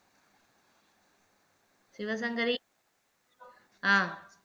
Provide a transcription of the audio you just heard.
Sivasankari ஆஹ்